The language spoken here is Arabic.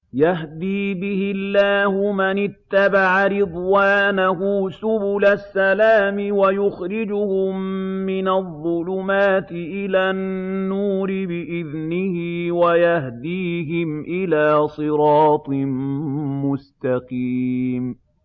يَهْدِي بِهِ اللَّهُ مَنِ اتَّبَعَ رِضْوَانَهُ سُبُلَ السَّلَامِ وَيُخْرِجُهُم مِّنَ الظُّلُمَاتِ إِلَى النُّورِ بِإِذْنِهِ وَيَهْدِيهِمْ إِلَىٰ صِرَاطٍ مُّسْتَقِيمٍ